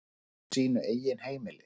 Á sínu eigin heimili.